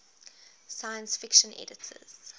science fiction editors